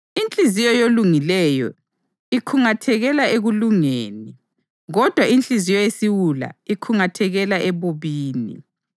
Inhliziyo yolungileyo ikhungathekela ekulungeni, kodwa inhliziyo yesiwula ikhungathekela ebubini.